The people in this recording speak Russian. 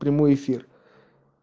прямой эфир